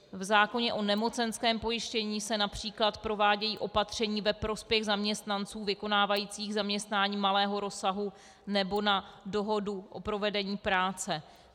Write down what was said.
V zákoně o nemocenském pojištění se například provádějí opatření ve prospěch zaměstnanců vykonávajících zaměstnání malého rozsahu nebo na dohodu o provedení práce.